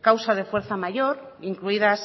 causa de fuerza mayor incluidas